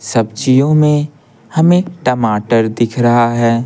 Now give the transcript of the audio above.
सब्जियों में हमें टमाटर दिख रहा है।